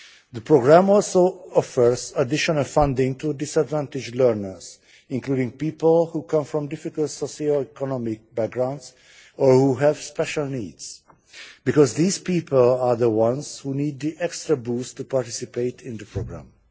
The programme also offers additional funding to disadvantaged learners, including people who come from difficult socio economic backgrounds, or who have special needs, because these people are the ones who need the extra boost to participate in the programme.